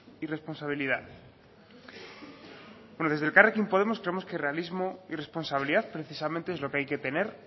y responsabilidad bueno desde elkarrekin podemos creemos que realismo y responsabilidad precisamente es lo que hay que tener